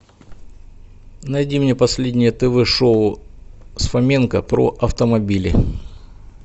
найди мне последнее тв шоу с фоменко про автомобили